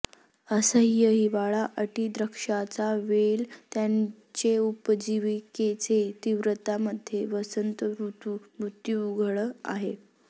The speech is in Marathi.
असह्य हिवाळा अटी द्राक्षांचा वेल त्याचे उपजीविकेचे तीव्रता मध्ये वसंत ऋतु मृत्यू उघड आहे